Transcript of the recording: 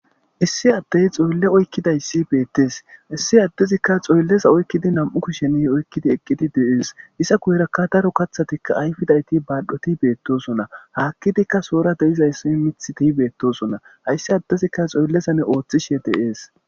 Issi addey xoylle oykkidayssi beettees issi addezikka xoylleza oykkidi nam'u kushen oykkidi eqqidi de'ees iza guyerakka daro kaththatikka ayfidayti baadhoti beettosona haakkidikka sohora de'izayssi miiththi keehi beettosona hayssi addezikka xoyllezani ooththishe de'ees